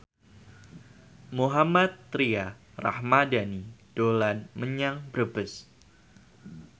Mohammad Tria Ramadhani dolan menyang Brebes